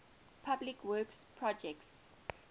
public works projects